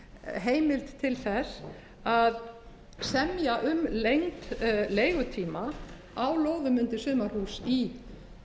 heimild til þess að semja um lengd leigutíma á lóðum undir sumarhús í